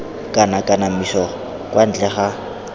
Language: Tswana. kana kanamiso kwa ntle ga